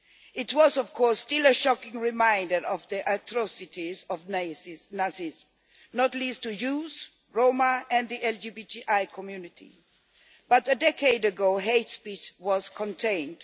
It was, of course, still a shocking reminder of the atrocities of Nazis, not least to Jews, Roma and the LGBTI community, but a decade ago hate speech was contained.